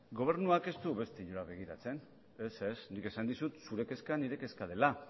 gobernuak ez du beste inora begiratzen ez ez nik esan dizut zure kezka nire kezka dela